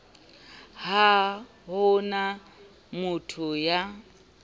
ha ho na motho ya